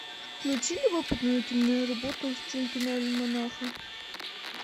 включи любопытную киноработу в стиле киноальманаха